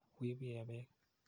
Wi ipi ee peek.